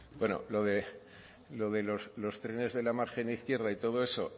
bueno lo de lo de los trenes de la margen izquierda y todo eso